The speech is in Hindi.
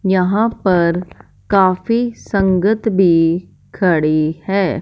यहां पर काफी संगत भी खड़ी है।